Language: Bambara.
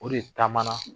O de taamana